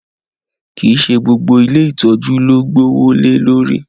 Kii ṣe gbogbo ìlé itọju lo gboowo le lori